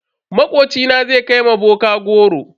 Makocina zai kai ma bokan goro.